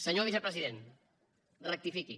senyor vicepresident rectifiqui